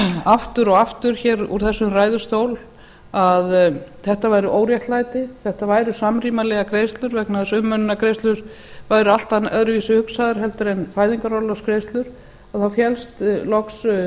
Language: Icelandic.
aftur og aftur hér úr þessum ræðustól að þetta væri óréttlæti þetta væru samrýmanlegar greiðslur vegna þess að umönnunargreiðslur væru allt öðruvísi hugsaðar heldur en fæðingarorlofsgreiðslur þá fékkst loks